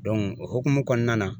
o hukumu kɔnɔna na